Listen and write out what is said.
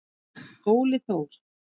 Óli Þór.